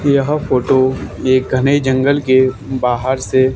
यह फोटो एक घने जंगल के बाहर से--